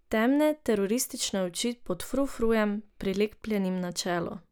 Temne, teroristične oči pod frufrujem, prilepljenim na čelo.